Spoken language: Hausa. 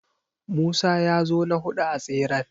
Musa ya zo na huɗu a tseren.